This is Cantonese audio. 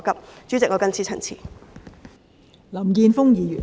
代理主席，我謹此陳辭。